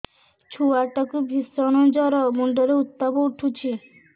ଛୁଆ ଟା କୁ ଭିଷଣ ଜର ମୁଣ୍ଡ ରେ ଉତ୍ତାପ ଉଠୁଛି